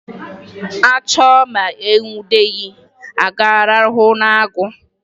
A chụọ ma e nwudeghi, a ga-arahụ n'agụ?